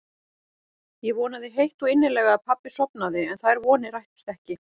Ég vonaði heitt og innilega að pabbi sofnaði en þær vonir rættust ekki.